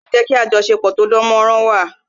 Ìpéjọpọ̀ ní ìlú máa ń jé kí ajosepo tó dán mó rán wà